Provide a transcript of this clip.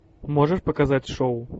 можешь показать шоу